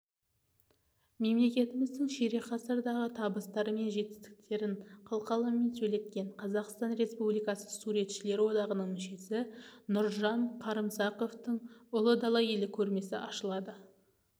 мемлекетіміздің ширек ғасырдағы табыстары мен жетістіктерін қылқаламмен сөйлеткен қазақстан республикасы суретшілер одағының мүшесі нұржан қарымсақовтың ұлы дала елі көрмесі ашылады